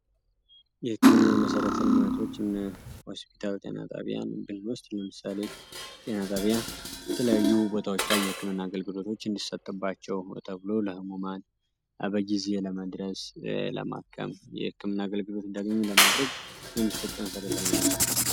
የህክምና መሰረተ ልማቶች እነ ሆስፒታል፣ ጤና ጣቢያን ብንወስድ ለምሳሌ ጤና ጣቢያ የተለያዩ ቦታዎች ላይ የህክምና አገልግሎቶች እንዲሰጥባቸው ተብሎ ለህሙማን በጊዜ ለመድረስ ለማከም የህክምና አገልግሎት እንዲያገኙ ለማድረግ የሚሰጡ መሰረተ ልማት ነው።